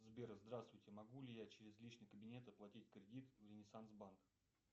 сбер здравствуйте могу ли я через личный кабинет оплатить кредит в ренессанс банк